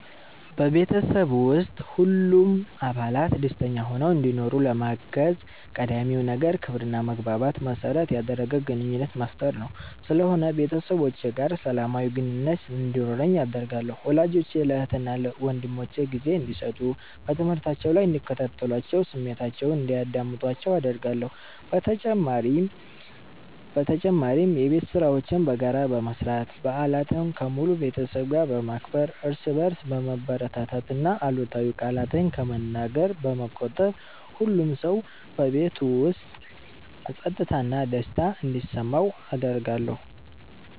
በቤተሰብ ውስጥ ሁሉም አባላት ደስተኛ ሆነው እንዲኖሩ ለማገዝ ቀዳሚው ነገር ክብርና መግባባትን መሠረት ያደረገ ግንኙነት መፍጠር ስለሆነ ቤተሰቦቼ ጋር ሰላማዊ ግንኙነት እንዲኖረኝ አደርጋለሁ። ወላጆቼ ለእህትና ወንድሞቼ ጊዜ እንዲሰጡ፣ በትምህርታቸው ላይ እንዲከታተሏቸውና ስሜታቸውን እንዲያዳምጡአቸው አደርጋለሁ። በተጨማሪም የቤት ሥራዎችን በጋራ በመስራት፣ በዓላትን ከሙሉ ቤተሰብ ጋር በማክበር፣ እርስ በርስ በመበረታታትና አሉታዊ ቃላትን ከመነገር በመቆጠብ ሁሉም ሰው በቤት ውስጥ ፀጥታና ደስታ እንዲሰማው አደርጋለሁ።